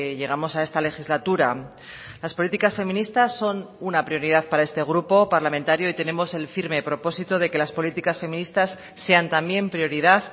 llegamos a esta legislatura las políticas feministas son una prioridad para este grupo parlamentario y tenemos el firme propósito de que las políticas feministas sean también prioridad